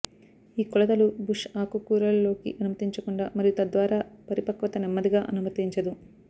ఈ కొలతలు బుష్ ఆకుకూరలు లోకి అనుమతించకుండా మరియు తద్వారా పరిపక్వత నెమ్మదిగా అనుమతించదు